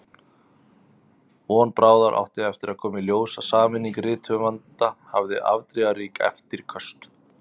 Von bráðar átti eftir að koma í ljós að sameining rithöfunda hafði afdrifarík eftirköst.